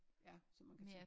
Ja så man kan tage